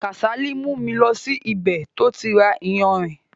Kásálì mú mi lọ sí ibè tó ti ra ìyánrín.